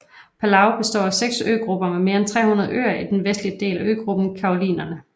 Palau består af seks øgrupper med mere end 300 øer i den vestlige del af øgruppen Carolinerne